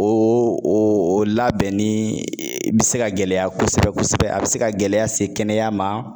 O o labɛnni bɛ se ka gɛlɛya kosɛbɛ kosɛbɛ, a bɛ se ka gɛlɛya se kɛnɛya ma.